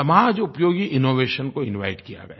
समाज उपयोगी इनोवेशन को इनवाइट किया गया